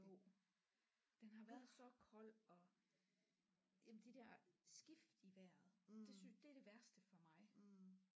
Jo den har været så kold og jamen de der skift i vejret det synes det er det værste for mig